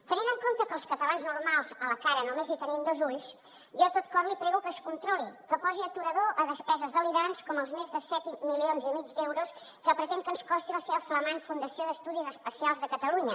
tenint en compte que els catalans normals a la cara només hi tenim dos ulls jo de tot cor li prego que es controli que posi aturador a despeses delirants com els més de set milions i mig d’euros que pretén que ens costi el seu flamant institut d’estudis espacials de catalunya